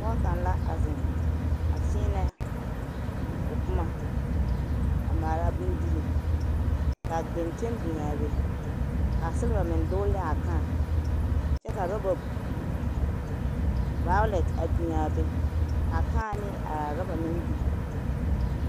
Pɔge kaŋ la a zeŋ a kyēē o boma a maala bondirii k'a genteŋ biŋaa be k'a siliba meŋ dogele ne a kãã kyɛ ka roba vawolɛnte biŋ a be k'a kãã ne a roba meŋ biŋ.